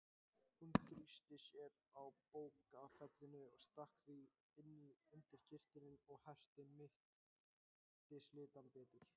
Hún þrýsti að sér bókfellinu, stakk því inn undir kyrtilinn og herti mittislindann betur.